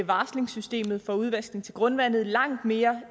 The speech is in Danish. varslingssystemet for udvaskning til grundvand langt mere